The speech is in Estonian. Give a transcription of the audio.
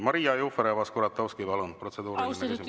Maria Jufereva-Skuratovski, palun, protseduuriline küsimus!